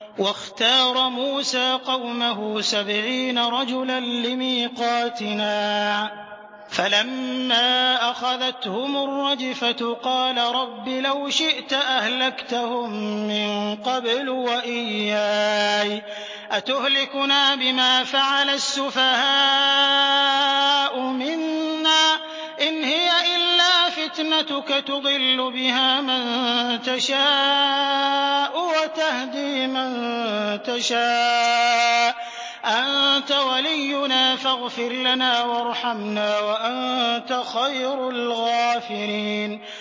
وَاخْتَارَ مُوسَىٰ قَوْمَهُ سَبْعِينَ رَجُلًا لِّمِيقَاتِنَا ۖ فَلَمَّا أَخَذَتْهُمُ الرَّجْفَةُ قَالَ رَبِّ لَوْ شِئْتَ أَهْلَكْتَهُم مِّن قَبْلُ وَإِيَّايَ ۖ أَتُهْلِكُنَا بِمَا فَعَلَ السُّفَهَاءُ مِنَّا ۖ إِنْ هِيَ إِلَّا فِتْنَتُكَ تُضِلُّ بِهَا مَن تَشَاءُ وَتَهْدِي مَن تَشَاءُ ۖ أَنتَ وَلِيُّنَا فَاغْفِرْ لَنَا وَارْحَمْنَا ۖ وَأَنتَ خَيْرُ الْغَافِرِينَ